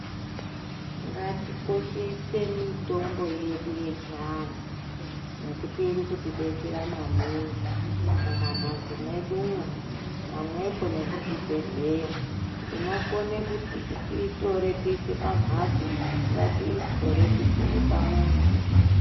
Ngatikoshese mutombo yedu yechiantu nekuti iri kutidetsera maningi mumamhatso mwedumwo pamwepo nekuzvibhedhleya tinokone kuti tiitore tiise pamhatso ngatiitore tisime pamuzi.